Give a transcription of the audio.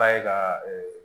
Ba ye ka